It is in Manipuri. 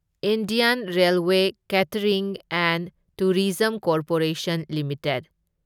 Indian railway catering and tourism corporation limited